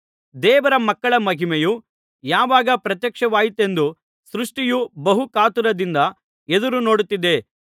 ದೇವರ ಮಕ್ಕಳ ಮಹಿಮೆಯು ಯಾವಾಗ ಪ್ರತ್ಯಕ್ಷವಾದೀತೆಂದು ಸೃಷ್ಟಿಯು ಬಹು ಕಾತುರದಿಂದ ಎದುರು ನೋಡುತ್ತಿದೆ